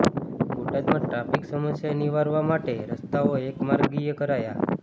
બોટાદમાં ટ્રાફિક સમસ્યા નિવારવા માટે રસ્તાઓ એક માર્ગીય કરાયા